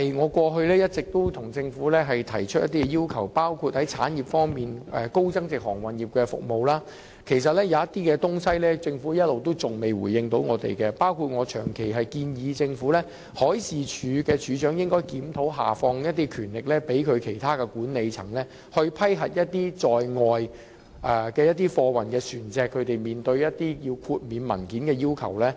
我過去亦一直就產業方面向政府提出要求，例如在高增值航運業的服務方面，其實政府一直沒有回應我們提出的一些建議，包括我長期建議政府研究將海事處處長的權力下放給其他管理層，以批核貨運船隻有關豁免文件的要求。